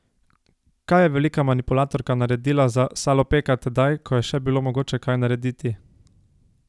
Kaj je velika manipulatorka naredila za Salopeka tedaj, ko je še bilo mogoče kaj narediti?